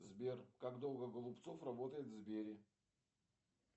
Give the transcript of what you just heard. сбер как долго голубцов работает в сбере